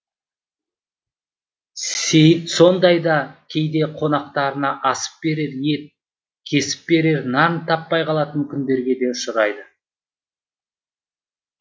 сейіт сондайда кейде қонақтарына асып берер ет кесіп берер нан таппай қалатын күндерге де ұшырайды